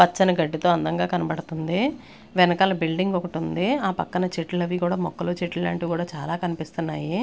పచ్చని గడ్డితో అందంగా కనబడుతుంది వెనకాల బిల్డింగ్ ఒకటి ఉంది ఆ పక్కన చెట్లు అవి కూడా మొక్కలు చెట్లు లాంటివి కూడా చాలా కనిపిస్తున్నాయి.